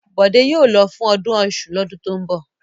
Bọ̀dé yóò lọ fún ọdún Ọ̀ṣun lọ́dún tó ń bọ̀!